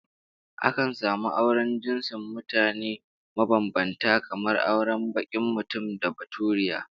Akan samu auren jinsin mutane mabambanta kamar auren bakin mutum da baturiya